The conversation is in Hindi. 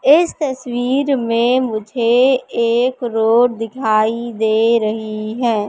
इस तस्वीर मे मुझे एक रोड दिखाई दे रही है।